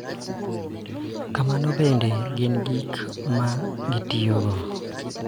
Kamano bende, gin gi gik ma gitiyogo .